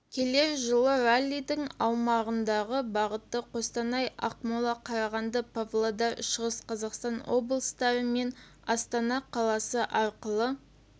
келер жылы раллидің аумағындағы бағыты қостанай ақмола қарағанды павлодар шығыс қазақстан облыстары мен астана қаласы арқылы